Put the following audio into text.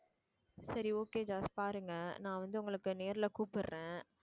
சரி okay ஜாஸ் பாருங்க நான் வந்து உங்களுக்கு நேர்ல கூப்பிடுறேன்